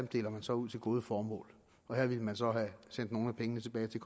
deler man så ud til gode formål her ville man så have sendt nogle af pengene tilbage til